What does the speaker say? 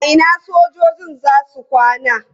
A ina sojojin za su kwana?